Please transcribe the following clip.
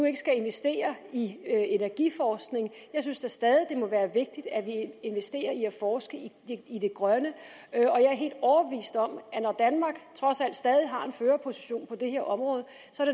ikke skal investere i energiforskning jeg synes da stadig det må være vigtigt at vi investerer i at forske i det grønne og jeg er helt overbevist om det når danmark trods alt stadig har en førerposition på det her område